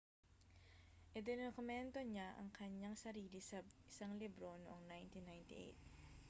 idinokumento niya ang kanyang sarili sa isang libro noong 1998